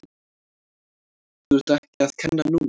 Þú ert ekki að kenna núna!